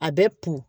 A bɛ kun